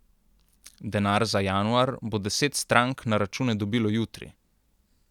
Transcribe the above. Denar za januar bo deset strank na račune dobilo jutri.